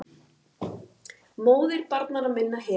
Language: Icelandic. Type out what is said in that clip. MÓÐIR BARNANNA MINNA HEFUR